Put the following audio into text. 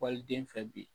Waliden fɛ bi